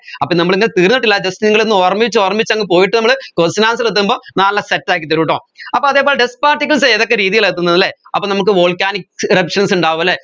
അപ്പോ നമ്മൾ ഇന്ന് തീർന്നിട്ടില്ല just നിങ്ങൾ ഒന്ന് ഓർമിച്ച് ഓർമിച്ച് അങ്ങ് പോയിട്ട് നമ്മൾ question answer എത്തുമ്പോ നല്ല set ആക്കിത്തരുംട്ടോ അപ്പോ അതേപോലെ dust particles ഏതൊക്കെ രീതിയില എത്തുന്നത് അല്ലെ അപ്പം നമ്മുക്ക് volcanic erruptions ഇണ്ടാവുഅല്ലേ